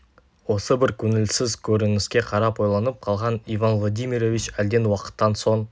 осы бір көңілсіз көрініске қарап ойланып қалған иван владимирович әлден уақыттан соң